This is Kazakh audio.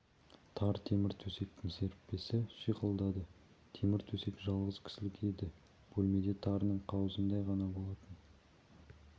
тар темір төсектің серіппесі шиқылдады темір төсек жалғыз кісілік еді бөлме де тарының қауызындай ғана болатын